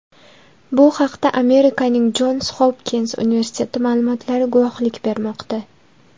Bu haqda Amerikaning Jons Hopkins universiteti ma’lumotlari guvohlik bermoqda .